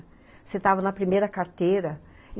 Sentava na primeira carteira.